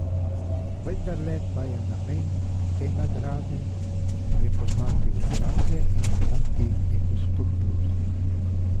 Vendarle pa je namen te nagrade, prepoznati obraze in jim dati neko spodbudo.